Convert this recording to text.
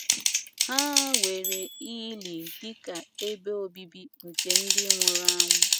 Ha weere ili dị ka ebe obibi nke ndị nwụrụ anwụ.